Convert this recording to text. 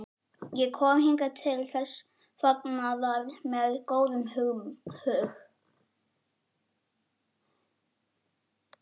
Ég kom hingað til þessa fagnaðar með góðum hug.